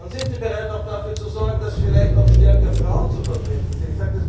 Sind Sie bereit, auch dafür zu sorgen, dass vielleicht auch stärker Frauen vertreten sind?